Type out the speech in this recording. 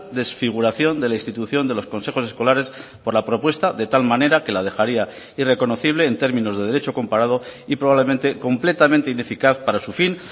desfiguración de la institución de los consejos escolares por la propuesta de tal manera que la dejaría irreconocible en términos de derecho comparado y probablemente completamente ineficaz para su fin